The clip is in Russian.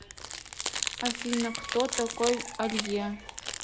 афина кто такой алье